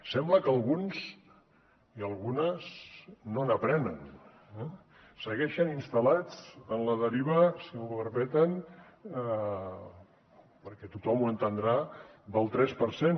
sembla que alguns i algunes no n’aprenen segueixen instal·lats en la deriva si m’ho permeten perquè tothom ho entendrà del tres per cent